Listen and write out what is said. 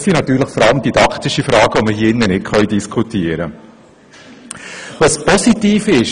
Es geht natürlich vor allem um didaktische Fragen, die wir hier nicht diskutieren können.